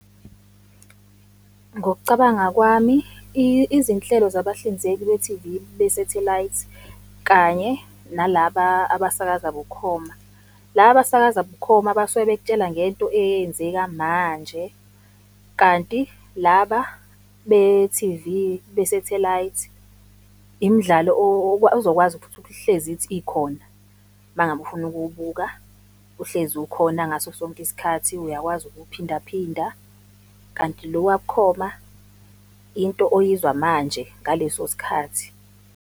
Ngokucabanga kwami, izinhlelo zabahlinzeki be-T_V besethelayithi, kanye nalaba abasakaza bukhoma, la abasakaza bukhoma basuke bekutshela ngento eyenzeka manje, kanti laba be-T_V, besethelayithi, imidlalo ozokwazi ukuthi uhlezi ithi ikhona mangabe ufuna ukuwubuka, uhlezi ukhona ngaso sonke isikhathi, uyakwazi ukuwuphindaphinda, kanti lo wabukhoma into oyizwa manje ngaleso sikhathi.